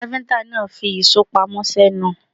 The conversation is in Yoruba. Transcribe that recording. Káfíńtà náà fi ìṣó pamọ́ sẹ́nu.